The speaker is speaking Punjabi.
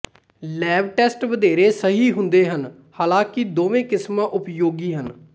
ਲੈਬ ਟੈਸਟ ਵਧੇਰੇ ਸਹੀ ਹੁੰਦੇ ਹਨ ਹਾਲਾਂਕਿ ਦੋਵਾਂ ਕਿਸਮਾਂ ਉਪਯੋਗੀ ਹਨ